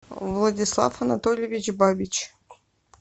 владислав анатольевич бабич